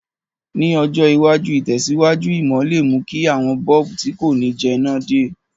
Ní ọjọ̀ iwájú, ìtẹ̀síwájú ìmò le mú ki àwon bulb ti ko ni jẹná de